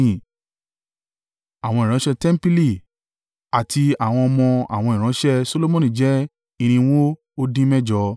Àwọn ìránṣẹ́ tẹmpili àti àwọn ọmọ àwọn ìránṣẹ́ Solomoni jẹ́ irinwó ó dín mẹ́jọ (392).